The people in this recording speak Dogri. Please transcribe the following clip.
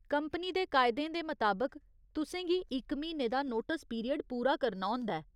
कंपनी दे कायदें दे मताबक, तुसें गी इक म्हीने दा नोटस पीरियड पूरा करना होंदा ऐ।